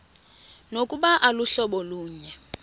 nokuba aluhlobo lunye